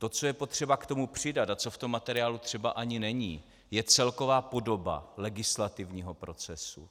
To, co je potřeba k tomu přidat a co v tom materiálu třeba ani není, je celková podoba legislativního procesu.